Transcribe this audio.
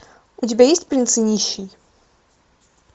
у тебя есть принц и нищий